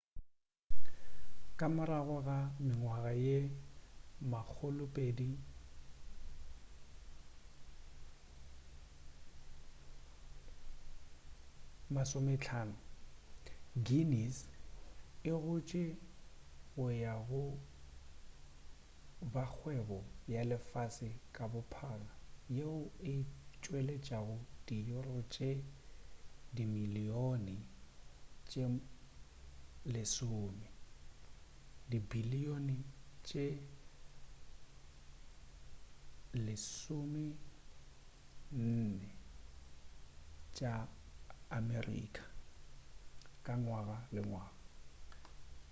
ka morago ga mengwaga ye 250 guinness e gotše go ya go ba kgwebo ya lefase ka bophara yeo e tšweletšago di euro tše dimilion tše 10 dibilion tše us$14.7 ka ngwaga le ngwaga